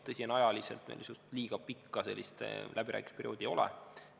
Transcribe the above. Tõsi, ajaliselt meil liiga pikka läbirääkimisperioodi ei ole.